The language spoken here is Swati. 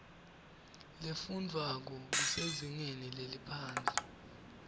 lefundwvwako kusezingeni leliphansi